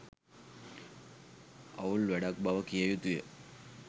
අවුල් වැඩක් බව කිය යුතුය.